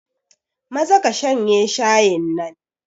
Maza ka shanye shayin nan.